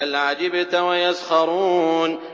بَلْ عَجِبْتَ وَيَسْخَرُونَ